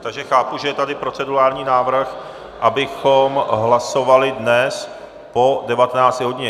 Takže chápu, že je tady procedurální návrh, abychom hlasovali dnes po 19. hodině.